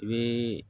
I bɛ